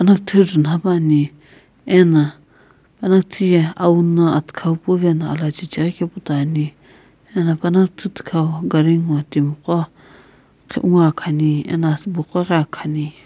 panaküthü ju nhape ani ena panaküthü ye awu na athikhau puwuvena alachecheghi kepu toi ani ena panaküthü thikhau gari ngo timi qo qhi ngoakhani eno asübo qo ghi akhani.